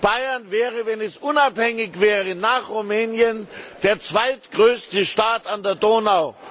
Bayern wäre, wenn es unabhängig wäre, nach Rumänien der zweitgrößte Staat an der Donau.